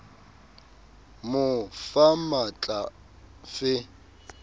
mo fa matl a fe